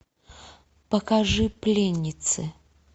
покажи пленницы